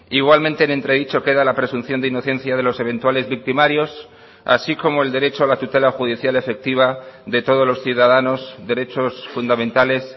igualmente en entredicho queda la presunción de inocencia de los eventuales victimarios así como el derecho a la tutela judicial efectiva de todos los ciudadanos derechos fundamentales